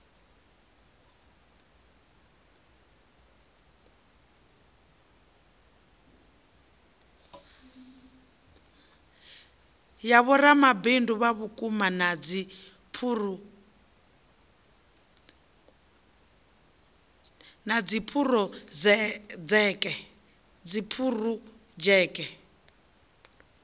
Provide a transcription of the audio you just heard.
ya vhoramabindu vhauku na dziphurodzheke